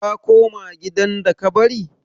Ka koma gidan da ka bari?